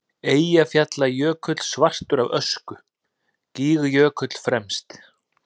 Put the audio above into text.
Eyjafjallajökull svartur af ösku, Gígjökull fremst.